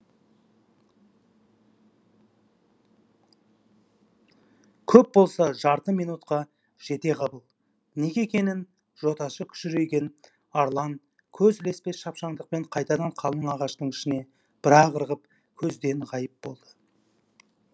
көп болса жарты минутқа жетеғабыл неге екенін жотасы күжірейген арлан көз ілеспес шапшаңдықпен қайтадан қалың ағаштың ішіне бір ақ ырғып көзден ғайып болды